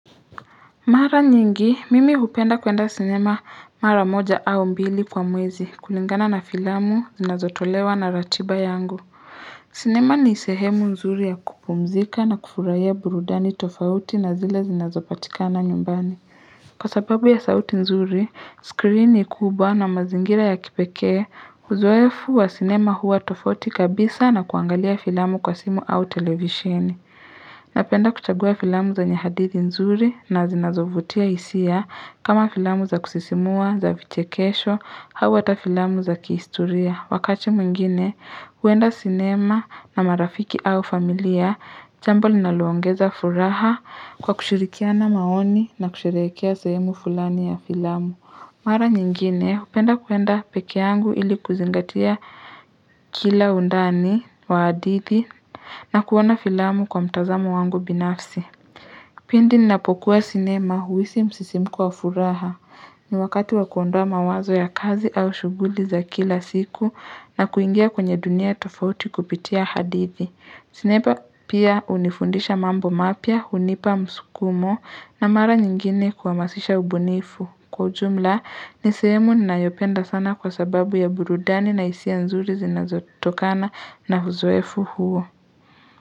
Mara nyingi, mimi hupenda kuenda sinema mara moja au mbili kwa mwezi kulingana na filamu, zinazotolewa na ratiba yangu. Sinema ni sehemu nzuri ya kupumzika na kufurahia burudani tofauti na zile zinazopatikana nyumbani. Kwa sababu ya sauti nzuri, skrini kubwa na mazingira ya kipekee, uzoefu wa sinema huwa tofauti kabisa na kuangalia filamu kwa simu au televisheni. Napenda kuchagua filamu zenya hadithi nzuri na zinazovutia hisia kama filamu za kusisimua za vichekesho hawa ata filamu za kihistoria. Wakati mwingine, huenda cinema na marafiki au familia, jambo linalongeza furaha kwa kushirikiana maoni na kushirehekea sehemu fulani ya filamu. Mara nyingine hupenda kuenda peke yangu ili kuzingatia kila undani wa hadithi na kuona filamu kwa mtazamo wangu binafsi. Pindi ninapokuwa sinema huisi msisimku wa furaha ni wakati wakuondoa mawazo ya kazi au shughuli za kila siku na kuingia kwenye dunia tofauti kupitia hadithi. Sinema pia hunifundisha mambo mapya, hunipa msukumo na mara nyingine kuhamasisha ubunifu. Kwa ujumla, nisehemu ninayopenda sana kwa sababu ya burudani na hisia nzuri zinazototokana na uzoefu huo.